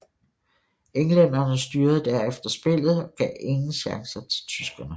Englænderne styrede derefter spillet og gav ingen chancer til tyskerne